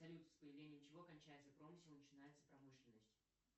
салют с появлением чего кончается промысел и начинается промышленность